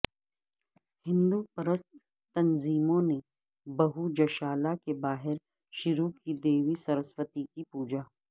ہندو پرست تنظیموں نے بھوجشالا کے باہر شروع کی دیوی سرسوتی کی پوجا